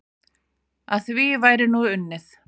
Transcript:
Að því væri nú unnið.